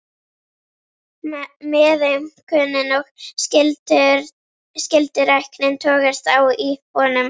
Meðaumkunin og skylduræknin togast á í honum.